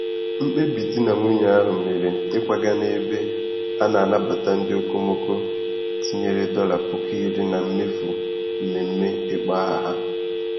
Mkpebi di na nwunye ahụ mere ịkwaga n'ebe a na-anabata ndị okomoko tinyere dollar puku iri na mmefu mmemme ịkpọ aha ha.